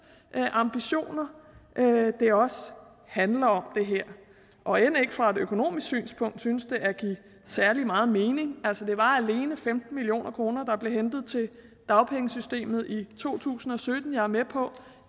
ambitioner det her handler om og end ikke fra et økonomisk synspunkt synes det at give særlig meget mening altså det var alene femten million kr der blev hentet til dagpengesystemet i to tusind og sytten jeg er med på